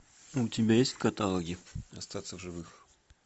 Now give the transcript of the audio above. у тебя есть в каталоге остаться в живых